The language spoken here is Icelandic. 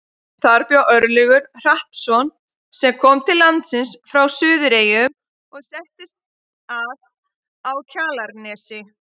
Þar bjó Örlygur Hrappsson sem kom til landsins frá Suðureyjum og settist að á Kjalarnesi.